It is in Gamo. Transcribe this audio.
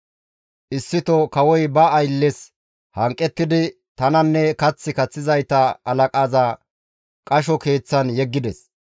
Issito kawoy ba aylles hanqettidi tananne kath kaththizayta halaqaza qasho keeththan yeggides.